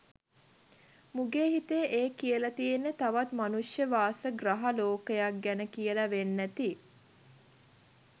මුගේ හිතේ ඒ කියලා තියෙන්නේ තවත් මනුෂ්‍ය වාස ග්‍රහ ලෝකයක් ගැන කියල වෙන්න ඇති.